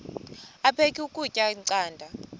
aphek ukutya canda